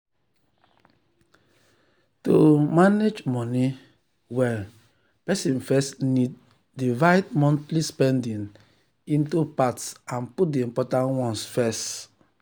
to um manage money um well person first need um divide monthly spending into parts and put the important ones first.